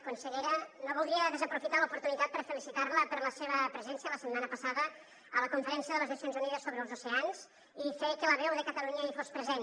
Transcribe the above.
consellera no voldria desaprofitar l’oportunitat per felicitar la per la seva presència la setmana passada a la conferència de les nacions unides sobre els oceans i fer que la veu de catalunya hi fos present